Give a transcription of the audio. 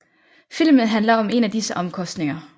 Filmen handler om en af disse omkostninger